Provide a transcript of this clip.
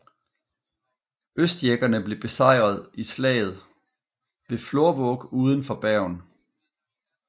Øyskjeggene blev besejret i slaget ved Florvåg uden for Bergen